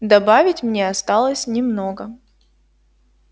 добавить мне осталось немного